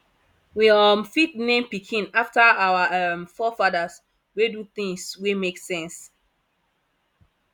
we um fit name pikin after our um forefathers wey do things wey make sense